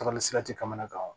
tɛ kamanagan